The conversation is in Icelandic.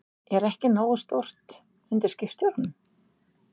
Er ekki nógu stórt undir skipstjóranum?